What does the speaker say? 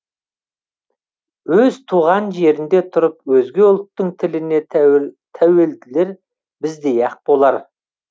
өз туған жерінде тұрып өзге ұлттың тіліне тәуелділер біздей ақ болар